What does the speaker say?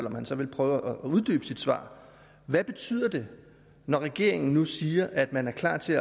om han så ville prøve at uddybe sit svar hvad betyder det når regeringen nu siger at man er klar til